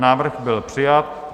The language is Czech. Návrh byl přijat.